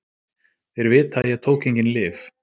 Þeir vita að ég tók engin lyf.